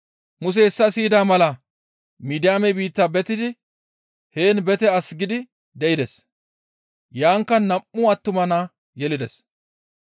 Musey hessa siyida mala Midiyaame biitta betidi heen bete as gidi de7ides; Yaankka nam7u attuma nayta yelides.